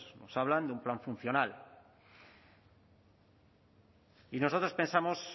pues se habla de un plan funcional y nosotros pensamos